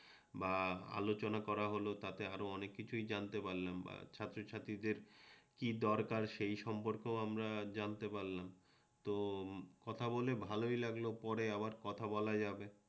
বা আলোচনা করা হল তাতে আরও অনেক কিছুই জানতে পারলাম ছাত্রছাত্রীদের কি দরকার সেই সম্পর্কেও আমরা জানতে পারলাম তো কথা বলে ভালোই লাগলো পরে আবার কথা বলা যাবে